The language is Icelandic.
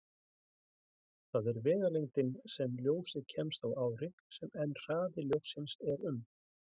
Það er vegalengdin sem ljósið kemst á ári, en hraði ljóssins er um